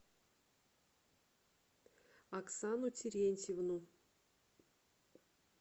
оксану терентьевну